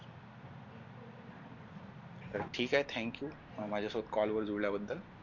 तर ठीक आहे thank you माझ्यासोबत call वर जुळल्याबद्दल